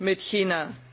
mit China.